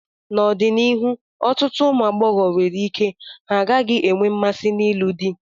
N'ọdịnihu, ọtụtụ ụmụ agbọghọ nwere ike ha gaghị enwe mmasị n'ịlụ di.